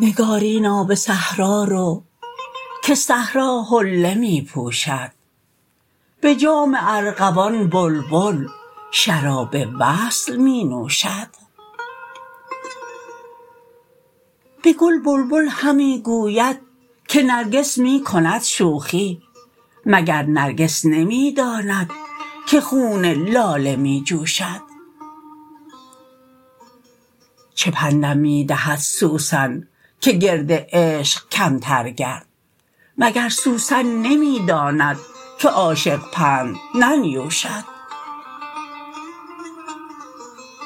نگارینا به صحرا رو که صحرا حله می پوشد به جام ارغوان بلبل شراب وصل می نوشد به گل بلبل همی گوید که نرگس می کند شوخی مگر نرگس نمی داند که خون لاله می جوشد چه پندم می دهد سوسن که گرد عشق کمتر گرد مگر سوسن نمی داند که عاشق پند ننیوشد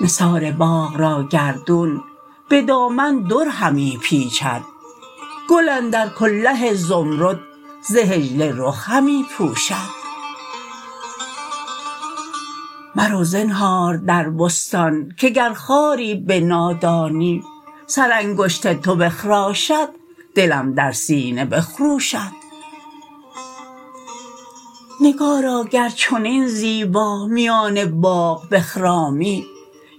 نثار باغ را گردون به دامن در همی پیچد گل اندر کله زمرد ز حجله رخ همی پوشد مرو زنهار در بستان که گر خاری به نادانی سرانگشت تو بخراشد دلم در سینه بخروشد نگارا گر چنین زیبا میان باغ بخرامی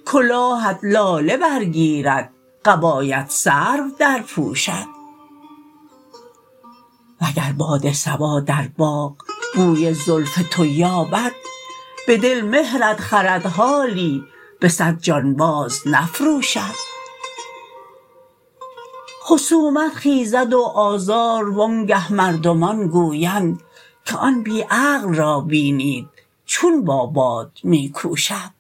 کلاهت لاله برگیرد قبایت سرو درپوشد وگر باد صبا در باغ بوی زلف تو یابد به دل مهرت خرد حالی به صد جان باز نفروشد خصومت خیزد و آزار و آنگه مردمان گویند که آن بی عقل را بینید چون با باد می کوشد